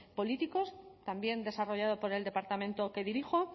políticos también desarrollado por el departamento que dirijo